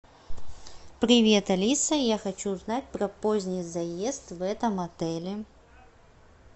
привет алиса я хочу узнать про поздний заезд в этом отеле